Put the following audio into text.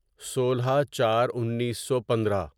سولہ چار انیسو پندرہ